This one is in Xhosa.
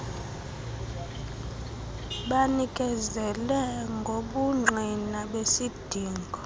banikezele ngobungqina besidingo